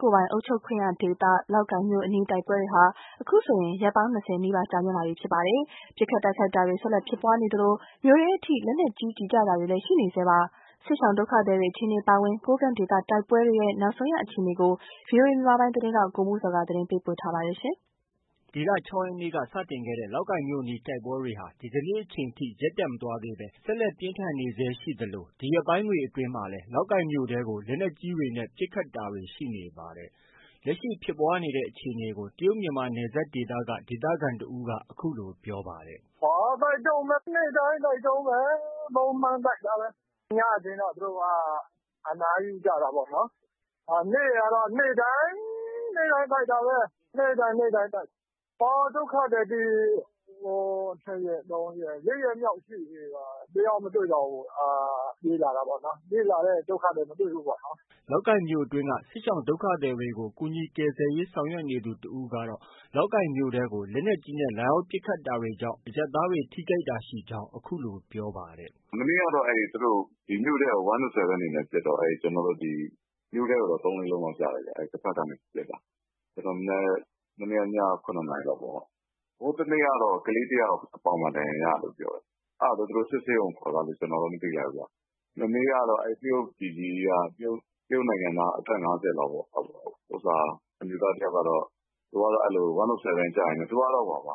ကိုယ်ပိုင်အုပ်ချုပ်ခွင့်ရဒေသ လောက်ကိုင်မြို့အနီး တိုက်ပွဲတွေဟာ အခုဆိုရင် ရက်ပေါင်း ၂၀နီးပါးကြာမြင့်လာနေပြီး ပစ်ခတ်တိုက်ခိုက်တာတွေ ဆက်လက်ဖြစ်ပွားနေ သလို မြို့ထဲအထိ လက်နက်ကြီးကျည် ကျတာတွေလဲ ရှိနေဆဲပါပဲ။ စစ်ရှောင် ဒုက္ခသည်တွေ အခြေအနေအပါအဝင် ကိုးကန့်ဒေသတိုက်ပွဲတွေ နောက်ဆုံးအခြေအနေကို ဗွီအိုအေမြန်မာပိုင်းသတင်းထောက် ကိုမိုးဇော်က တင်ပြမှာ ဖြစ်ပါတယ်။ ဒီလ ၆ ရက်နေ့က စတင်ခဲ့တဲ့ လောက်ကိုင်မြို့အနီး တိုက်ပွဲတွေဟာ ဒီကနေ့ အချိန်ထိ ရပ်တန့်မသွားသေးဘဲ ဆက်လက်ပြင်းထန်နေဆဲရှိသလို ဒီရက်ပိုင်းတွေအတွင်းမှာလည်း လောက်ကိုင်မြို့ထဲကို လက်နက်ကြီးတွေနဲ့ ပစ်ခတ်တာတွေ ရှိနေပါတယ်။ လက်ရှိ ဖြစ်ပွားနေတဲ့အခြေအနေကို တရုတ်မြန်မာနယ်စပ်ဒေသက ဒေသခံတဦးက အခုလို ပြောပါတယ်။ " တိုက်တုန်းပဲ။ နေ့တိုင်း တိုက်တုန်းပဲ။ ညဆိုရင်တော့ သူတို့ အနားယူကြတာပေါ့နော်။ နေ့ကတော့ နေ့တိုင်း.. နေ့တိုင်း တိုက်တာပဲ။ ဒုက္ခသည်တွေဆို တစ်ရက်၊ နှစ်ရက်၊ သုံးရက်.. လေးရက်မြောက်ရှိပြီ။ တယောက်မှ မတွေ့တော့ဘူး ပြေးလာတာပေါ့နော်။ ပြေးလာကြတယ် ဒုက္ခသည်တွေ။" လောက်ကိုင်မြို့အတွင်းက စစ်ရှောင်ဒုက္ခသည်တွေကို ကူညီ ကယ်ဆယ်ရေးဆောင်ရွက်နေသူ တဦးကတော့ လောက်ကိုင်မြို့ထဲကို လက်နက်ကြီးနဲ့ လာရောက်ပစ်ခတ်တာကြောင့် အရပ်သားတွေ ထိခိုက်တာရှိကြောင်း အခုလို ပြောပါတယ်။ "မနေ့ကတော့ သူတို့ မြို့ထဲကို ပစ်တော့ ကျနော်တို့ ဒီမြို့ထဲကိုတော့ သုံးလေးလုံးလောက် ကျတယ်ဗျ။ အဲ့တဘက်ကနေ ပစ်တာ။ မနေ့ညက ခုနှစ်နာရီလောက်ကပေါ့။ ဟိုးတနေ့ကတော့ ကလေးတယောက် ပေါင်မှာ ဒဏ်ရာရတယ်ပြောတယ်။ အဲ့တာ သူတို့စစ်ဆေးရုံကို ခေါ်သွားတယ် ကျနော်တော့ မသိလိုက်ဘူးပေါ့။ မနေ့ကတော့ တရုတ်ပြည်ကြီးက တရုတ်နိုင်ငံသား အသက် ၅၀လောက်ပေါ့ အမျိုးသားတယောက် ကတော့ ကျည် ကျရင်းနဲ့ သူကတော့ နဖူး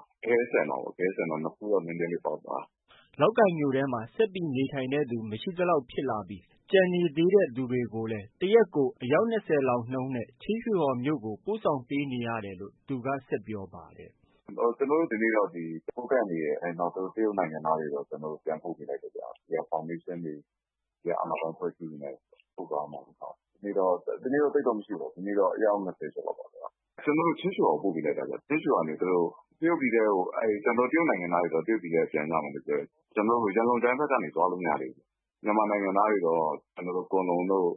တော့ နည်းနည်းလေးပေါက်သွားတယ်။" လောက်ကိုင်မြို့ထဲမှာ ဆက်ပြီးနေထိုင်တဲ့သူ မရှိသလောက်ဖြစ်လာပြီး ကျန်နေသေးသူတွေကိုလဲ တရက်ကို အယောက် ၂၀ လောက်နှုန်းနဲ့ ချင်းရွှေဟော်မြို့ကို ပို့ပေးနေရတယ်လို့ သူက ဆက်ပြောပါတယ်။ " ကျနော်တို့က ဒီက ကိုးကန့်တွေရော တရုတ်နိုင်ငံသားတွေရော ပြန်ပို့ပေးလိုက်တယ်ခင်ဗျ။ ဒီကဖောင်ဒေးရှင်းတွေ အာဏာပိုင်အဖွဲ့အစည်းတွေနဲ့ပူးပေါင်းပြီးတော့။ ဒီနေ့တော့ သိပ်တော့မရှိဘူး။ အယောက် ကျော်လောက်ပါပဲ။ ချင်းရွှေဟော်ဘက်ကို ကျနော်တို့ပို့ပေးလိုက်တာ။ တရုတ်ပြည်ထဲကိုတော့ တရုတ်နိုင်ငံသားတွေပြန် မယ်ပြောတယ်။ မြန်မာနိုင်ငံသားတွေတော့ လားရှိုးတို့ ကွမ်လုံတို့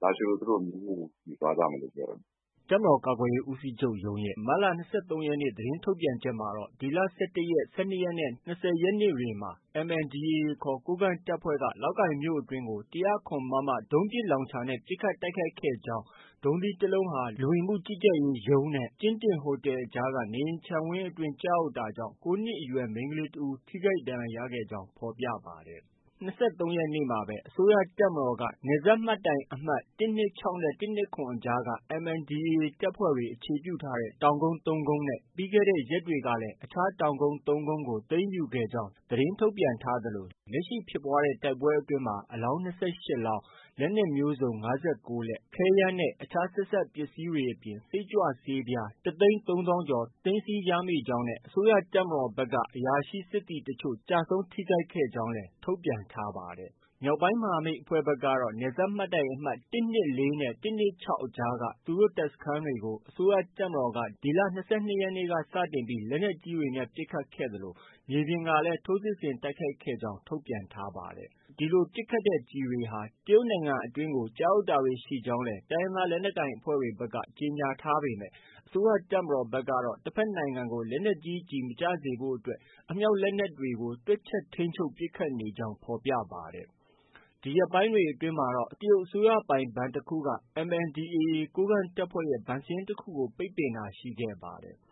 ဘက်ကနေ သွားကြမယ်ပြောတယ်။ " တပ်မတော်ကာကွယ်ရေးဦးစီးချုပ်ရုံးရဲ့ မတ်လ ၂၃ ရက်နေ့ သတင်းထုတ်ပြန်ချက်မှာ ဒီလ ၁၁ရက်၊ ၁၂ရက်နဲ့ ၂၀ရက်နေ့တွေမှာ MNDAA ခေါ် ကိုးကန့်တပ်ဖွဲ့က လောက်ကိုင်မြို့ အတွင်းကို ၁၀၇မမ ဒုံးပစ်လောင်ချာနဲ့ ပစ်ခတ်တိုက်ခိုက်ခဲ့ကြ ကြောင်း၊ ဒုံးသီးတလုံးဟာ လူဝင်မှုကြီးကြပ်ရေးနဲ့ ကျင်းတင်ဟိုတယ်အကြားက နေအိမ်ခြံဝင်းအတွင်း ကျရောက် တာကြောင့် ၉နှစ်အရွယ် မိန်းကလေး တဦး ထိခိုက်ဒဏ်ရာရခဲ့ကြောင်း ဖော်ပြပါတယ်။ အဲဒီ့၂၃ရက်နေ့မှာပဲ အစိုးရတပ်မတော်က နယ်စပ်မှတ်တိုင်အမှတ် ၁၂၆နဲ့ ၁၂၇အကြားက MNDAA တပ်ဖွဲ့တွေ အခြေပြုထားတဲ့ တောင်ကုန်း ၃ကုန်းနဲ့ ပြီးခဲ့တဲ့ ရက်တွေကလည်း တောင်ကုန်း ၃ကုန်းကို သိမ်းယူခဲ့ကြောင်း သတင်းထုတ်ပြန်ထားသလို လက်ရှိဖြစ်ပွားတဲ့ တိုက်ပွဲတွေအတွင်းမှာ အလောင်း ၂၈လောင်း၊ လက်နက်မျိုးစုံ ၅၉လက်၊ ခဲယမ်းနဲ့ အခြားဆက်စပ်ပစ္စည်းတွေအပြင် စိတ်ကြွဆေးပြား ၁သိန်း ၃သောင်းကျော် သိမ်းဆီးရမိကြောင်းနဲ့ အစိုးရတပ်မတော်ဘက်ကလည်း အရာရှိ၊ စစ်သည်တချို့ ကျဆုံး၊ထိခိုက်ကြောင်းလည်း ထုတ်ပြန်ထားပါတယ်။ မြောက်ပိုင်းမဟာမိတ်အဖွဲ့ဖက်ကတော့ နယ်စပ်မှတ်တိုင်အမှတ် ၁၂၄နဲ့ ၁၂၆အကြားက သူတို့တပ်စခန်းတွေကို အစိုးရတပ်မတော်က ဒီလ ၂၂ရက်နေ့စတင်ပြီး လက်နက်ကြီးတွေနဲ့ပစ်ခတ်ခဲ့သလို မြေပြင်ကနေလည်း ထိုးစစ်ဆင်တိုက်ခိုက်ခဲ့ကြောင်း ထုတ်ပြန်ထားပါတယ်။ ဒီလိုပစ်ခတ်တဲ့ ကျည်တွေဟာ တရုတ်နိုင်ငံအတွင်း ကျရောက်တာတွေရှိကြောင်း တိုင်းရင်းသားလက်နက်ကိုင်အဖွဲ့ဖက်က ကြေညာထားပေမဲ့ အစိုးရတပ်မတော်ကတော့ တဖက်နိုင်ငံဖက်ကို လက်နက်ကြီးကျည်မကျစေဖို့တွက် အမြောက်၊ လက်နက်ကြီးတွေကို တွက်ချက်ထိန်းချုပ်ပစ်ခတ်နေကြောင်း ဖော်ပြပါတယ်။ ဒီရက်ပိုင်းတွေအတွင်းမှာတော့ တရုတ် အစိုးရ ပိုင်ဘဏ်တခုကMNDAA ကိုးကန့်တပ်ဖွဲ့ရဲ့ ဘဏ်စာရင်းတခုကို ပိတ်ပင်တာရှိခဲ့ပါတယ်။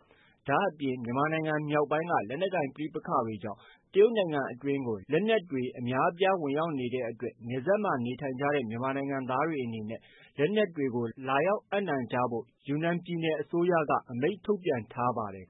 ဒါအပြင် မြန်မာနိုင်ငံမြောက်ပိုင်းက လက်နက်ကိုင် ပဋိပက္ခကြောင့် တရုတ်နိုင်ငံအတွင်းကို လက်နက်တွေ အများအပြားဝင်ရောက်နေတဲ့အတွက်နယ်စပ်ဒေသမှာ နေထိုင်ကြတဲ့ မြန်မာနိုင်ငံသားတွေ အနေနဲ့ လက်နက်တွေကို လာရောက်အပ်နှံကြဖို့ယူနန်ပြည်နယ် အစိုးရက အမိန့်ထုတ်ပြန်ထားပါတယ်